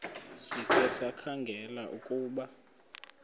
sikhe sikhangele ukuba